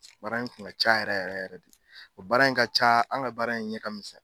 Baara in tun ka ca yɛrɛ yɛrɛ yɛrɛ de o baara in ka ca an ka baara in ɲɛ kamisɛn.